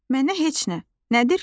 Mənə heç nə, nədir ki?